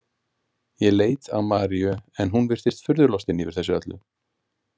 Ég leit á Maríu en hún virtist furðu lostin yfir þessu öllu.